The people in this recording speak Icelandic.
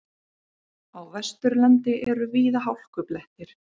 Á Vesturlandi eru víða hálkublettir